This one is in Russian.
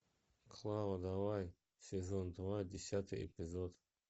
клава давай сезон два десятый эпизод